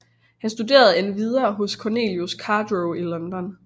Han studerende endvidere hos Cornelius Cardew i London